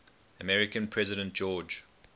american president george